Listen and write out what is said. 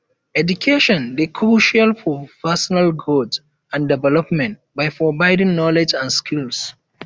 education dey crucial for personal growth and development by providing knowledge and skills